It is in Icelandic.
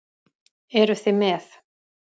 Eruð þið með?